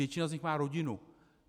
Většina z nich má rodinu.